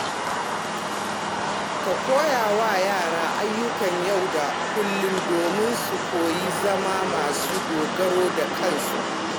Ka koya wa yara ayyuka na yau da kullum domin su koyi zama masu dogaro da kansu.